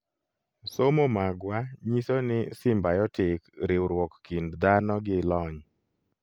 somo magwa nyiso ni symbiotic riuruok kind dhano gi lony